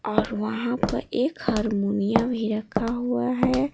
और वहाँ पर एक हारमोनिया भी रखा हुआ है।